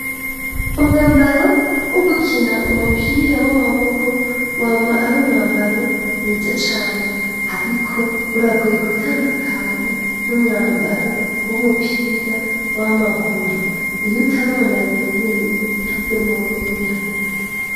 Umwambaro wo gukina umupira w'amaboko wama ari umwambaro mwiza cane ariko uragoye gutandukanya n'umwambaro w'umupira w'amaguru iyo utari umuntu abimenyere afite kubimenya.